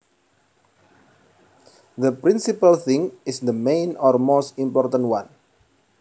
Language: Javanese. The principal thing is the main or most important one